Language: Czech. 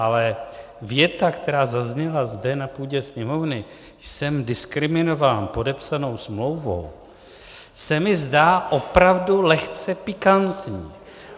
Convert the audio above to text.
Ale věta, která zazněla zde na půdě Sněmovny, jsem diskriminován podepsanou smlouvou, se mi zdá opravdu lehce pikantní.